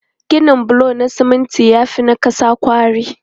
Ginin bulo na siminti ya fi na ƙasa kwari.